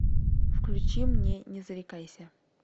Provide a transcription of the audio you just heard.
включи мне не зарекайся